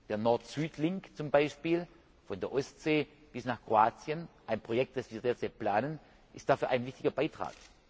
Der Nord Süd Link zum Beispiel von der Ostsee bis nach Kroatien, ein Projekt, das wir derzeit planen, ist dafür ein wichtiger Beitrag.